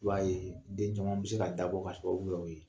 I b'a ye den caman be se ka dabɔ ka sababu kɛ o ye.